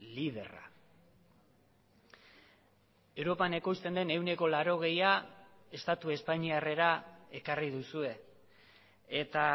liderra europan ekoizten den ehuneko laurogeia estatu espainiarrera ekarri duzue eta